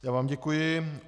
Já vám děkuji.